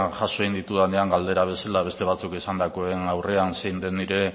jaso egin ditudanean galdera bezala beste batzuk esandakoen aurrean zein den nire